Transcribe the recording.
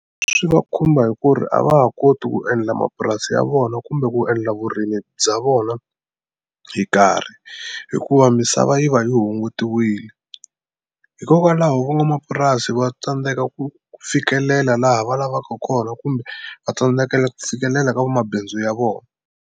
Swi va khumba hi ku ri a va ha koti ku endla mapurasi ya vona kumbe ku endla vurimi bya vona hi nkarhi hikuva misava yi va yi hungutiwile hikokwalaho van'wamapurasi va tsandzeka ku fikelela laha va lavaka kona kumbe va tsandzekela ku tshikelela ka vamabindzu ya vona.